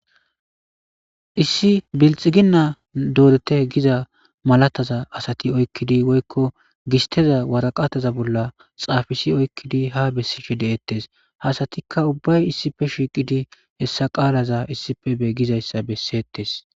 Issi bilxigina doretiy giza malataza asati oyikidi woyikko gisiteza waraqataza bola xafisi oyikidi ha besishe detest ha asataka ubbay issippe shiiqidi hesa qalaza issippe be gizayisa besetes.